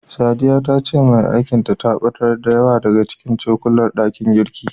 Sadiya ta ce mai aikin ta, ta ɓatar da, da yawa daga cikin cokulan ɗakin girkin.